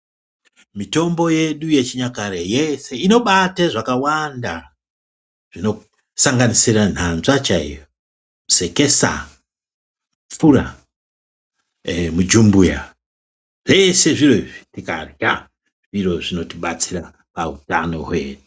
Mitombo yedu yechinyakare yeshe inobate zvakawanda zvinosanganisira nhanzva chaiyo, sekesa, pfura nemujumbuya zveshe zviro izvi tikarya ndizvo zvinotibatsira pautano hwenyu.